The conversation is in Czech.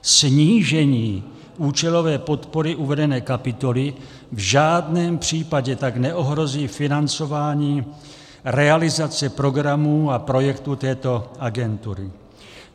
Snížení účelové podpory uvedené kapitoly v žádném případě tak neohrozí financování realizace programů a projektů této agentury.